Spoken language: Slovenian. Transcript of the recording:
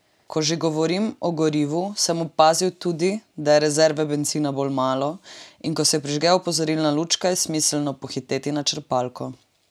Ko že govorim o gorivu, sem opazil tudi, da je rezerve bencina bolj malo, in ko se prižge opozorilna lučka, je smiselno pohiteti na črpalko.